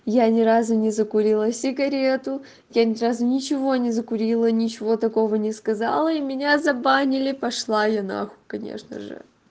я ни разу не закурила сигарету я ни разу ничего не закурила ничего такого не сказала и меня забанили пошла я на хуй конечно же